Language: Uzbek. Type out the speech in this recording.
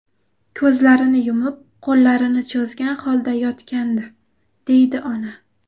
Ko‘zlarini yumib, qo‘llarini cho‘zgan holda yotgandi”, deydi ona.